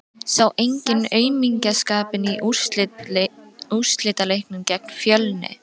Sá enginn aumingjaskapinn í úrslitaleiknum gegn Fjölni?